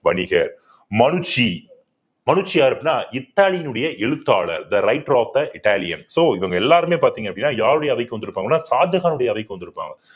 வணிகர் யார் அப்படின்னா இத்தாலியினுடைய எழுத்தாளர் the right of the italian so இவங்க எல்லாருமே பார்த்தீங்க அப்படின்னா யாருடைய அவைக்கு வந்திருப்பாங்கன்னா ஷாஜகானுடைய அறைக்கு வந்திருப்பாங்க